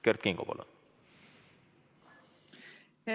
Kert Kingo, palun!